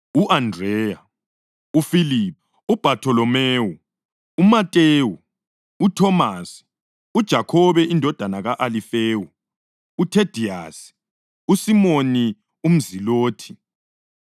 u-Andreya, uFiliphu, uBhatholomewu, uMatewu, uThomasi, uJakhobe indodana ka-Alifewu, uThediyasi, uSimoni umZilothi